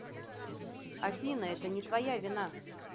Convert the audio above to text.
афина это не твоя вина